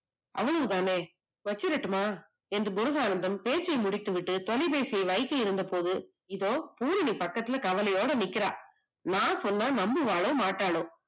அவங்கதானே வெச்சுரட்டுமா என்று முருகானந்தம் பேசி முடித்து விட்டு தொலைபேசி இருந்தபோது இதோ பூரணி பக்கத்துலயே கவலையோட நிக்கிறா, நான் சொன்ன நம்புவாலோ மாட்டாளோ